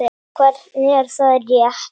Hvernig, er það rétt?